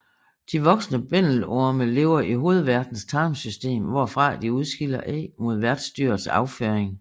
De voksne bændelorme lever i hovedværtens tarmsystem hvorfra de udskiller æg med værtsdyrets afføring